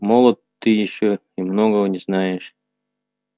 молод ты ещё и многого не знаешь